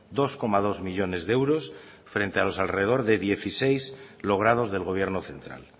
dos coma dos millónes de euros frente a los alrededor de dieciséis logrados del gobierno central